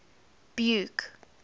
buke